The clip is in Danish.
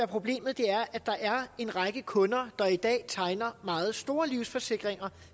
problemet er at der er en række kunder der i dag tegner meget store livsforsikringer